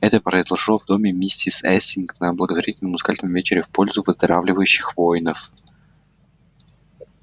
это произошло в доме миссис элсинг на благотворительном музыкальном вечере в пользу выздоравливающих воинов